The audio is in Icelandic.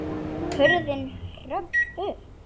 Hurðin hrökk upp!